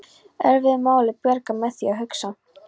Erfiðu máli bjargað með því að hugsa